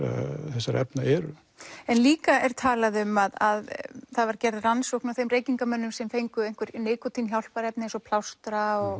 þessara efna eru en líka er talað um að það var gerð rannsókn á þeim reykingarmönnum sem fengu einhver nikótín hjálparefni eins og plástra og